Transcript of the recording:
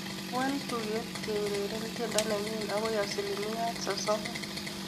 Wal tugetab keureren tiendo nenyu akoi aslimiat sosom